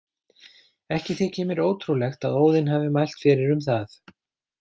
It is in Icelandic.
Ekki þykir mér ótrúlegt að Óðinn hafi mælt fyrir um það.